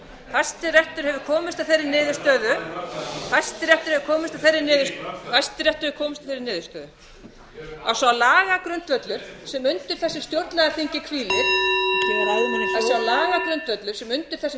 hæstiréttur hefur komist að þeirri niðurstöðu hæstiréttur hefur komist að þeirri niðurstöðu að sá lagagrundvöllur sem undir þessu stjórnlagaþingi hvílir bið ræðumenn að að sá lagagrundvöllur sem undir þessu